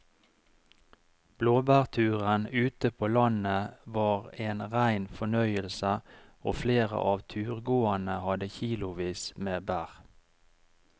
Blåbærturen ute på landet var en rein fornøyelse og flere av turgåerene hadde kilosvis med bær.